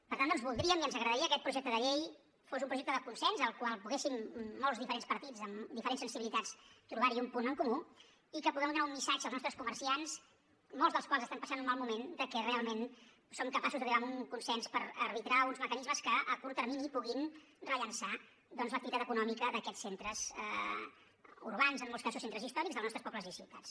per tant doncs voldríem i ens agradaria que aquest projecte de llei fos un projecte de consens al qual poguéssim molts diferents partits amb diferents sensibilitats trobar un punt en comú i que puguem donar un missatge als nostres comerciants molts dels quals estan passant un mal moment de que realment som capaços d’arribar a un consens per arbitrar uns mecanismes que a curt termini puguin rellançar l’activitat econòmica d’aquests centres urbans en molts casos centres històrics dels nostres pobles i ciutats